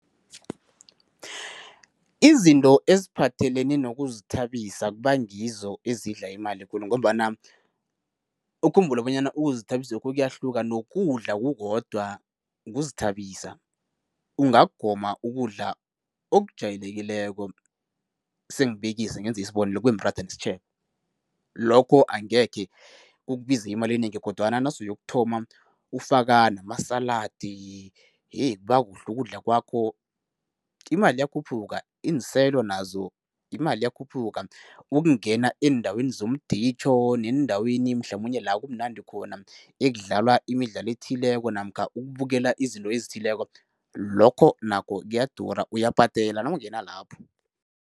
Izinto eziphathelene nokuzithabisa kuba ngizo ezidla imali khulu ngombana ukhumbule bonyana ukuzithabisokhu kuyahluka nokudla kukodwa kuzithabisa. Ungagoma ukudla okujayelekileko, sengibekisa ngenza isibonelo, kubemratha nesitjhebo, lokho angekhe kukubize imali enengi kodwana nasuyokuthoma ufaka namasaladi kubakuhle ukudla kwakho, imali iyakhuphuka, iinselo nazo imali iyakhuphuka. Ukungena eendaweni zomditjho neendaweni mhlamunye la kumnandi khona, ekudlalwa imidlalo ethileko namkha ukubukela izinto ezithileko, lokho nakho kuyadura, uyabhadela nawungena lapho.